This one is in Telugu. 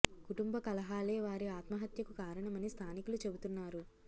కుటుంబ కలహాలే వారి ఆత్మహత్య కు కారణమని స్థానికులు చెబుతున్నారు